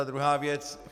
A druhá věc...